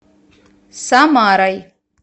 самарой